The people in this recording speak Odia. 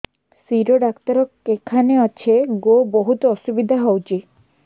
ଶିର ଡାକ୍ତର କେଖାନେ ଅଛେ ଗୋ ବହୁତ୍ ଅସୁବିଧା ହଉଚି